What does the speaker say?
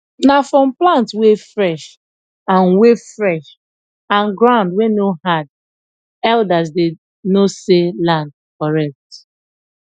na from plant wey fresh and wey fresh and ground wey no hard elders dey know say land correct